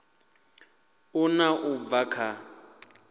ṱun ḓa u bva kha